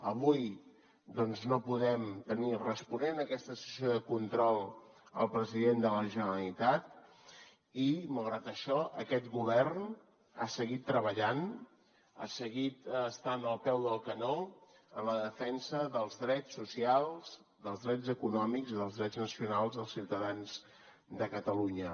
avui doncs no podem tenir responent a aquesta sessió de control al president de la generalitat i malgrat això aquest govern ha seguit treballant ha seguit estant al peu del canó en la defensa dels drets socials dels drets econòmics i dels drets nacionals dels ciutadans de catalunya